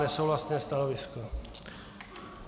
Nesouhlasné stanovisko.